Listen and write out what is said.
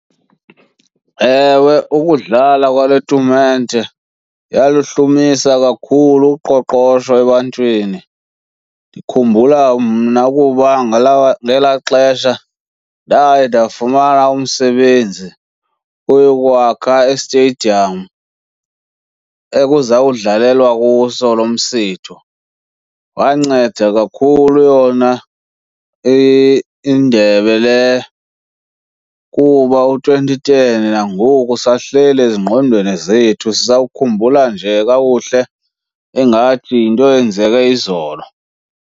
Ewe, ukudlala kwale tumente yalihlumisa kakhulu uqoqosho ebantwini. Ndikhumbula mna ukuba ngalawa ngelaa xesha ndaye ndafumana umsebenzi uyokwakha i-stadium ekuzawudlalelwa kuso lo msitho. Wanceda kakhulu yona indebe le kuba u-twenty ten nangoku usahleli ezingqondweni zethu, sisawukhumbula nje kakuhle ingathi yinto eyenzeke izolo.